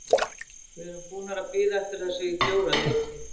Við erum búnir að bíða eftir þessu í fjóra leiki.